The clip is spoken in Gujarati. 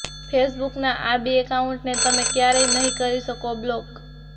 ફેસબુકના આ બે એકાઉન્ટને તમે ક્યારેય નહીં કરી શકો બ્લોક